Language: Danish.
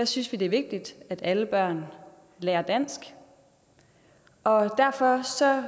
synes vi det er vigtigt at alle børn lærer dansk og derfor